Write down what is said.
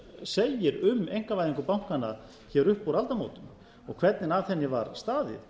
segir um einkavæðingu bankanna hér upp úr aldamótunum og hvernig að henni var staðið